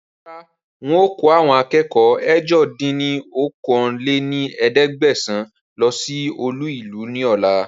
Rárá ń ó kò àwọn akẹ́kọ̀ọ́ ẹ̀jọ dín ní okòó-lé-ní-ẹ̀ẹ́dẹ́gbẹ́sán lọ síí olú ìlú ni ọ̀la